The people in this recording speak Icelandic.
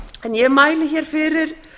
ég mæli hér fyrir